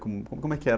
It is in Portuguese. Como, como é que era?